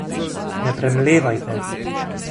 Ne premlevajte.